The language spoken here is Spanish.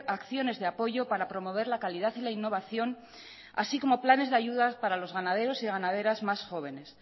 acciones de apoyo para promover la calidad y la innovación así como planes de ayuda para los ganaderos y ganaderas más jóvenes